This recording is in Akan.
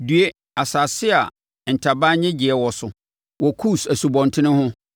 Due, asase a ntaban nnyegyeeɛ wɔ so wɔ Kus nsubɔntene ho,